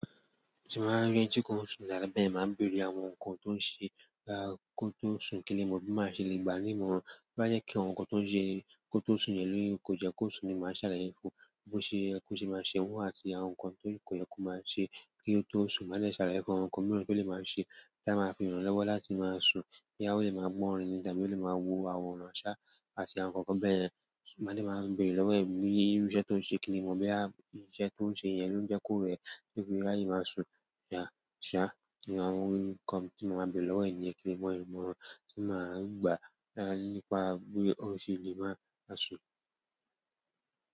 Tí mo bá rí ẹni tí kò ń sùn dáadáa bẹ́ẹ̀ lè máa béèrè àwọn nǹkan tó ń ṣe kí ó tó sùn kí ó lè mọ bí máa ṣe lè gbani mọ́ ọn. Bá jẹ́ kí àwọn nǹkan tó ń ṣe kí ó tó sùn yẹn lóye, kò jẹ́ kó sùn ni, màá ṣàlàyé fún un bó ṣe ẹ́ kó ṣe máa ṣe ń wù àti àwọn nǹkan tí kò yẹ kó máa ṣe kí ó tó sùn. Máa jẹ́ ṣàlàyé fún àwọn nǹkan mìíràn tí ó lè máa ṣe tí a máa fi ìrànlọ́wọ́ láti máa sùn kí a ó lè máa gbọ́ orin nígbà tí ó lè máa wo àwòrán ṣá àti àwọn nǹkan bẹ́ẹ̀. Máa jẹ́ máa béèrè lọ́wọ́ ẹ̀ bí irú iṣẹ́ tó ń ṣe kí ó lè mọ̀ bí iṣẹ́ tó ń ṣe yẹn ló ń jẹ́ kó rẹ̀ níbi láì máa sùn ṣá. Kíni àwọn nǹkan tí mo máa béèrè lọ́wọ́ ẹ̀ ni kí ó lè mọ ìwọ̀n tí màá gbà nípa bí ó ṣe lè máa sùn.